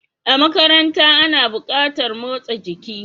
A makaranta ana buƙatar motsa jiki.